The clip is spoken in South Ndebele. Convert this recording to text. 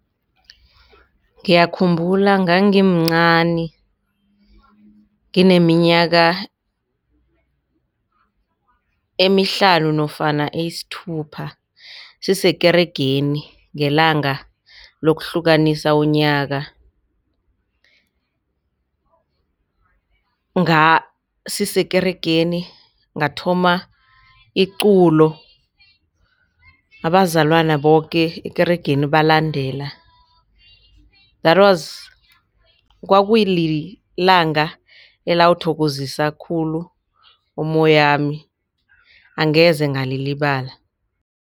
Ngiyayikhumbula ngangimcani ngineminyaka emihlanu nofana eyisithupha sisekeregeni ngelanga lokuhlukanisa unyaka sisekeregeni ngathoma iculo abazalwana boke ekeregeni balandela that was kwakulilanga alawuthokozisa khulu umoyami angeze ngalilibala.